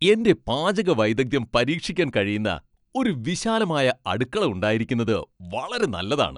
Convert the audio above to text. എന്റെ പാചക വൈദഗ്ദ്ധ്യം പരീക്ഷിക്കാൻ കഴിയുന്ന ഒരു വിശാലമായ അടുക്കള ഉണ്ടായിരിക്കുകന്നത് വളരെ നല്ലതാണ്.